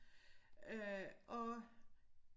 Øh og